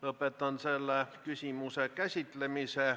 Lõpetan selle küsimuse käsitlemise.